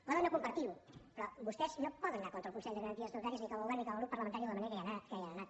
poden no compartir ho però vostès no poden anar contra el consell de garanties estatutàries ni com a govern ni com a grup parlamentari de la manera que hi han anat